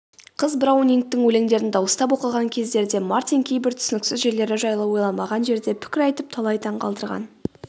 қыз браунингтің өлеңдерін дауыстап оқыған кездерде мартин кейбір түсініксіз жерлері жайлы ойламаған жерде пікір айтып талай таң қалдырған